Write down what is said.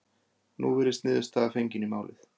Nú virðist niðurstaða fengin í málið